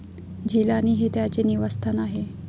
झिलानी हे त्याचे निवासस्थान आहे.